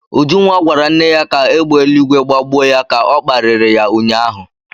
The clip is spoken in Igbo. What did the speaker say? Ujunwa gwara nwanne ya ka égbè eluigwe gbagbuo ya ka ọ kparịrị ya ụnyahụ.